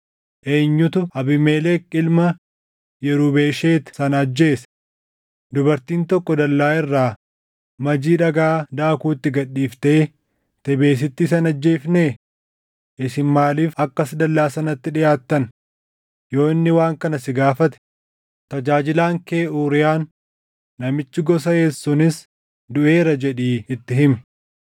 Eenyutu Abiimelek ilma Yirubesheet sana ajjeese? Dubartiin tokko dallaa irraa majii dhagaa daakuu itti gad dhiiftee Tebeesitti isa hin ajjeefnee? Isin maaliif akkas dallaa sanatti dhiʼaattan?’ Yoo inni waan kana si gaafate, ‘Tajaajilaan kee Uuriyaan namichi gosa Heet sunis duʼeera’ jedhii itti himi.”